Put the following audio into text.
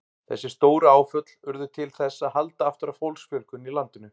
Þessi stóru áföll urðu til þess að halda aftur af fólksfjölgun í landinu.